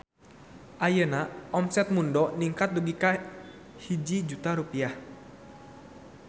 Ayeuna omset Mundo ningkat dugi ka 1 juta rupiah